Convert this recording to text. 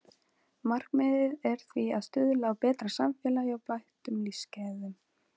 Markmiðið er því að stuðla að betra samfélagi og bættum lífsgæðum.